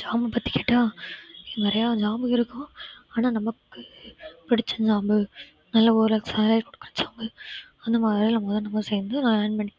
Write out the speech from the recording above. job பத்தி கேட்டா நிறைய job உ இருக்கும் ஆனா நமக்கு பிடிச்ச job உ நல்ல ஒரு salary குடுக்கற job உ அந்த வேலைல நம்ம மொத சேர்ந்து earn பண்ணி